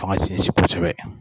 F' an ka sinsin kosɛbɛ.